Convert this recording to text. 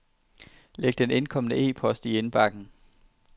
Læg den indkomne e-post i indbakken.